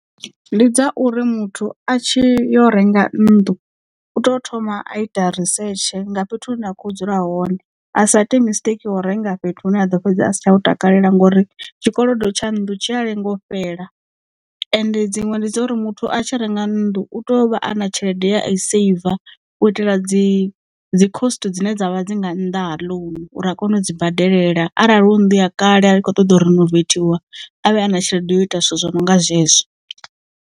Ndi dza uri muthu a tshi yo renga nnḓu u to thoma a ita risetshe nga fhethu hune a kho dzula hone a sa ite mistake wo renga fhethu hune a ḓo fhedza a si tsha u takalela ngouri tshikolodo tsha nndu tshi a lengo fhela ende dziṅwe ndi dza uri muthu a tshi renga nnḓu u to vha ana tshelede ye a i seiva u itela dzi dzi cost dzine dzavha dzi nga nnḓa ha ḽounu uri a kone u dzi badelela arali hu nnḓu ya kale a ri kho ṱoḓa u rinoveithiwa avhe a na tshelede yo ita zwithu zwo no nga zwezwo.